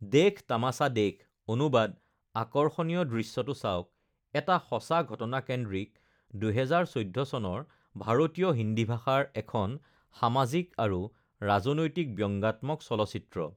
দেখ তামাছা দেখ (অনুবাদ- আকৰ্ষণীয় দৃশ্যটো চাওক) এটা সঁচা ঘটনাকেন্দ্ৰিক ২০১৪ চনৰ ভাৰতীয় হিন্দী ভাষাৰ এখন সামাজিক আৰু ৰাজনৈতিক ব্যংগাত্মক চলচ্চিত্ৰ৷